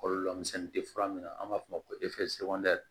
Kɔlɔlɔ misɛnnin tɛ fura min na an b'a f'o ma ko